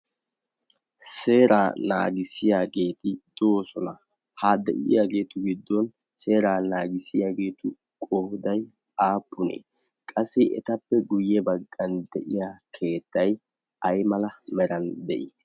seeraa naagissiyaageeti doosona ha de'iyaageetu giddon seeraa naagissiyaageetu goodai aappunee qassi etappe guyye baggan de'iya keettay ay mala meran de'ii?